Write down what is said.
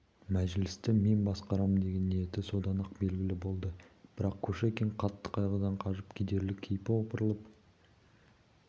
мәжілісті мен басқарамын деген ниеті содан-ақ белгілі болды бірақ кушекин қатты қайғыдан қажып кедерлі кейпі опырылып